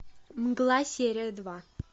мгла серия два